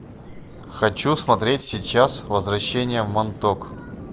хочу смотреть сейчас возвращение в монток